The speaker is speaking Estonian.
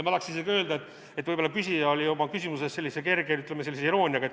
Ma tahaks isegi öelda, et võib-olla küsija küsimuses oli selline kerge, ütleme, iroonia.